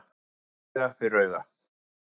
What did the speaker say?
Auga fyrir auga